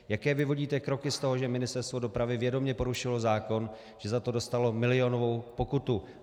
Jaké vyvodíte kroky z toho, že Ministerstvo dopravy vědomě porušilo zákon, že za to dostalo milionovou pokutu?